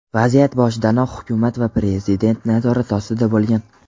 vaziyat boshidanoq hukumat va Prezident nazorati ostida bo‘lgan.